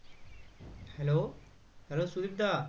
Hello Hellosudip the